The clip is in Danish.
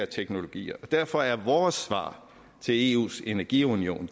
teknologierne derfor er vores svar til eus energiunion